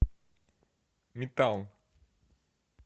метал